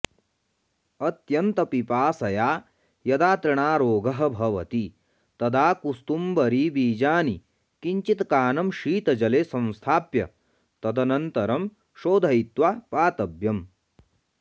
अत्यन्तपिपासया यदा तृणारोगः भवति तदा कुस्तुम्बरीबीजानि किञ्चित्कानं शीतजले संस्थाप्य तदनन्तरं शोधयित्वा पातव्यम्